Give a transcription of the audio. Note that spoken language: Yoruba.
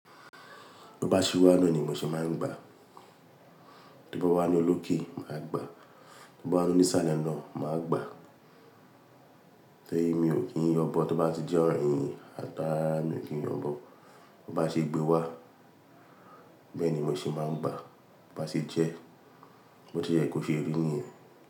Tó bá ṣe wá naa ni mo ṣe máa ń gbàá. Tó bá wá ni olókè máà gbàá, tó bá wá ní ìsàlẹ̀ náà màà gbàá. Ṣẹ̀yìn mi ò kí ń yọ̀bọ tó bá ti jẹ́ oyin ata mi ò kí ń yọ̀bọ. Tó bá ṣe gbé wá, bẹ́ẹ̀ ni mo ṣe máa ń gbàá, tó bá ṣe jẹ́, bó ti jẹ́ ẹ kó ṣe eré nìyẹn.